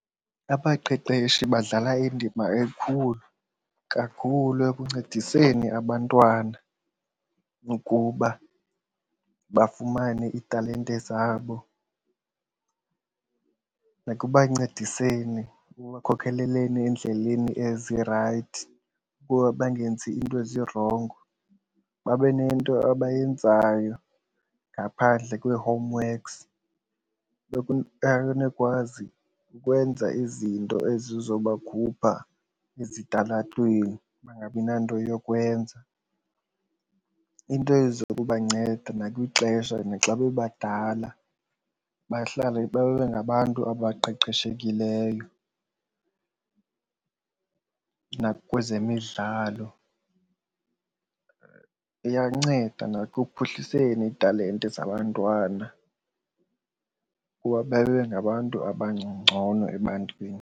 Abaqeqeshi badlala indima enkulu kakhulu ekuncediseni abantwana ukuba bafumane iitalente zabo nakubancediseni ekubakhokeleni endleleni ezirayithi ukuba bangenzi iinto ezirongo, babe nento abayenzayo ngaphandle kwee-homeworks. Banokwazi ukwenza izinto ezizobakhupha ezitalatweni bangabi nanto yokwenza, iinto ezokubanceda nakwixesha naxa bebadala bahlale babe ngabantu abaqeqeshekileyo nakwezemidlalo. Iyanceda ekuphuhliseni iitalente zabantwana ukuba babe ngabantu abangcono ebantwini.